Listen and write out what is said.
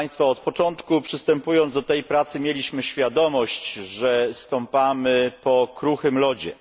Od początku przystępując do tej pracy mieliśmy świadomość, że stąpamy po kruchym lodzie.